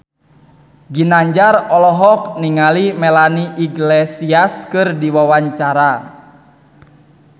Ginanjar olohok ningali Melanie Iglesias keur diwawancara